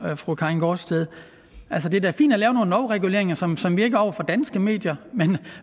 jo fru karin gaardsted altså det er da fint at lave nogle lovreguleringer som som virker over for danske medier men